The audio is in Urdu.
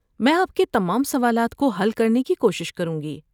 میں آپ کے تمام سوالات کو حل کرنے کی کوشش کروں گی۔